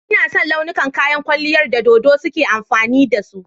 Ina son launukan kayan kwalliyar da dodo suka yi amfani da su.